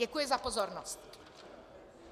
Děkuji za pozornost.